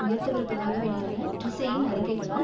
உயர்த்தவிருப்பதாக வெளியான ட்ரீசேயின் அறிக்கைகளால்